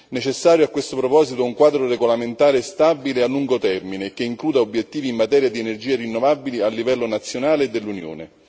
È necessario, a questo proposito, un quadro regolamentare stabile a lungo termine, che includa obiettivi in materia di energie rinnovabili a livello nazionale e dell'Unione.